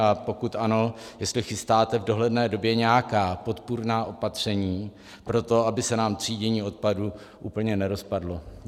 A pokud ano, jestli chystáte v dohledné době nějaká podpůrná opatření pro to, aby se nám třídění odpadu úplně nerozpadlo.